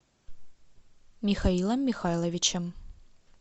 михаилом михайловичем